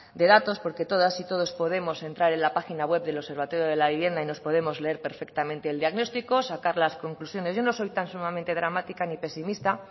de datos porque todas y todos podemos entrar en la página web del observatorio de la vivienda y nos podemos leer perfectamente el diagnóstico sacar las conclusiones yo no soy tan sumamente dramática ni pesimista